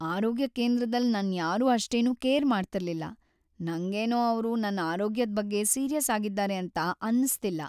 ಆರೋಗ್ಯ ಕೇಂದ್ರದಲ್ ನನ್ ಯಾರು ಅಷ್ಟೇನು ಕೇರ್ ಮಾಡ್ತಿರ್ಲಿಲ್ಲ ನಂಗೇನೋ ಅವ್ರು ನನ್ ಆರೋಗ್ಯದ್ ಬಗ್ಗೆ ಸೀರಿಯಸ್ ಆಗಿದ್ದಾರೆ ಅಂತ ಅನ್ನಿಸ್ತಿಲ್ಲ.